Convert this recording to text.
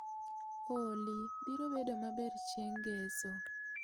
Olly biro bedo maber chieng' ngeso